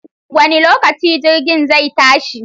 Wani lokaci jirgin zai tashi?